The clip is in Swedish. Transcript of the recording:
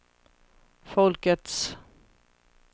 folkets